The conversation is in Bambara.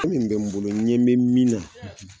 min bɛ n bolo ɲɛ bɛ min na, hati!